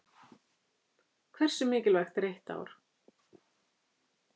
Hversu mikilvægt er eitt ár?